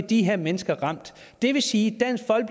de her mennesker ramt det vil sige